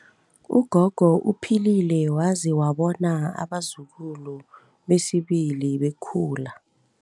Ugogo uphilile waze wabona abazukulu besibili bekhula.